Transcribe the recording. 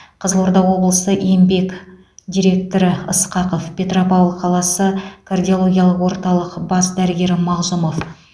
қызылорда облысы еңбек директоры ысқақов петропавл қаласы кардиологиялық орталық бас дәрігері мағзұмов